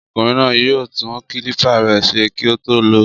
Ọkùnrin náà yóò tún kílípà rẹ̀ ṣe kí ó tó lò ó.